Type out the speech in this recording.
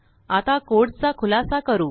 आता कोड चा खुलासा करू